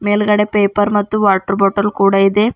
ಮೇಲ್ಗಡೆ ಪೇಪರ್ ಮತ್ತು water bottle ಕೂಡ ಇದೆ.